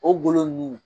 O golo nunnu